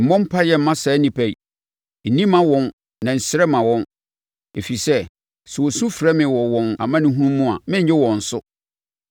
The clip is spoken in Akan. “Mmɔ mpaeɛ mma saa nnipa yi, nni mma wɔn na nsrɛ mma wɔn, ɛfiri sɛ, sɛ wɔsu frɛ me wɔ wɔn amanehunu mu a, merennye wɔn so.